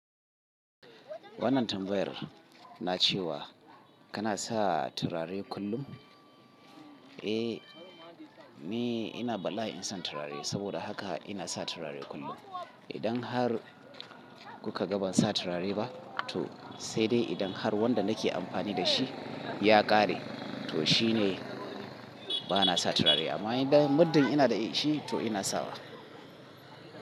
Wannan tambayar na cewa kana sa turare kullum? Eh, ni ina bala'in son turare saboda haka ina sa turare kullum. Idan har kuka ga ban sa turare ba to sai dai idan har wanda nake amfani dashi ya ƙare to shine bana sa turare. Amma idan muddin ina da shi to ina sawa.